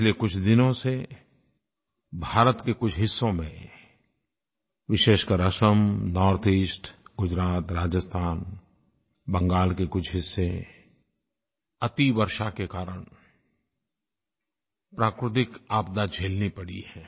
पिछले कुछ दिनों से भारत के कुछ हिस्सों में विशेषकर असम नॉर्थईस्ट गुजरात राजस्थान बंगाल के कुछ हिस्से अतिवर्षा के कारण प्राकृतिक आपदा झेलनी पड़ी है